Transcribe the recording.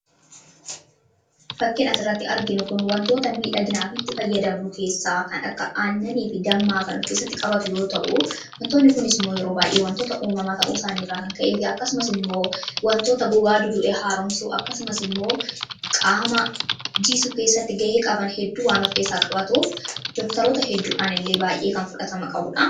Suuraa kanaa gadii irratti kan argamu kun wantoota miidhaginaaf itti fayyadamnu keessaa kan akka aannanii fi Dammaa kan of keessatti qabuu dha. Wantoonni kunis yeroo baayyee wantoota uumamaa ta'uu isaanii irraan kan ka'ee wantoota gogaa du'e haaromsuu fi qaamaa jiisuu keessatti ga'ee of keessaa qaba.